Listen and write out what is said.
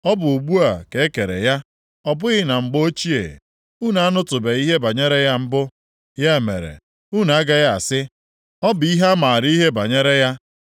Ọ bụ ugbu a ka e kere ya, ọ bụghị na mgbe ochie. Unu anụtụbeghị ihe banyere ya mbụ, ya mere, unu agaghị asị, ‘Ọ bụ ihe maara ihe banyere ya.’